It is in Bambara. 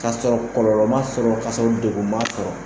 K'a sɔrɔ kɔlɔlɔ m'a sɔrɔ ka sɔrɔ degun ma sɔrɔ